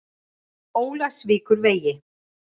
Ólafsvíkurvegi